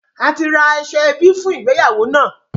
A ti ra aṣọ ẹbí fún ìgbéyàwó náà